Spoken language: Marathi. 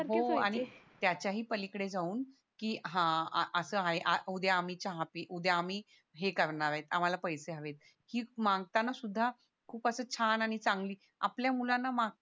हो आणि त्याच्या ही पलीकडे जाऊन की हा असं आहे उद्या आम्ही चहा उद्या आम्ही हे करणारे आम्हाला पैसे हवे येत की मागताना सुद्धा खूप असं छान आणि चांगली आपल्या मुलांना माग